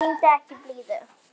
Sýndu ekki blíðu.